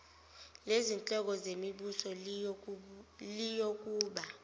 lezinhloko zemibuso liyokuba